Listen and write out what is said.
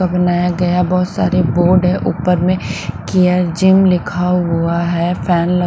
का बनाया गया बहुत सारे बोर्ड है ऊपर में कियर जिम लिखा हुआ है फैन।